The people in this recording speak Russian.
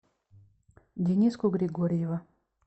дениску григорьева